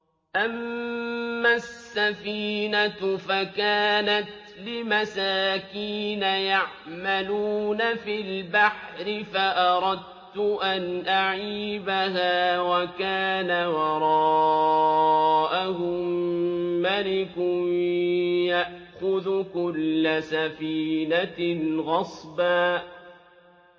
أَمَّا السَّفِينَةُ فَكَانَتْ لِمَسَاكِينَ يَعْمَلُونَ فِي الْبَحْرِ فَأَرَدتُّ أَنْ أَعِيبَهَا وَكَانَ وَرَاءَهُم مَّلِكٌ يَأْخُذُ كُلَّ سَفِينَةٍ غَصْبًا